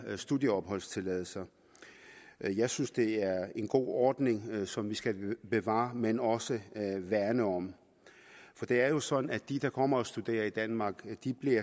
studieopholdstilladelser jeg synes det er en god ordning som vi skal bevare men også værne om for det er jo sådan at de der kommer og studerer i danmark